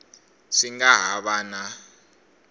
swi nga ha va na